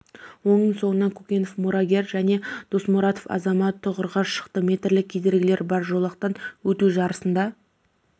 оның соңынан кокенов мурагер және досмуратов азамат тұғырға шықты метрлік кедергілері бар жолақтан өту жарысында